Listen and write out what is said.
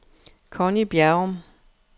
Conny Bjerrum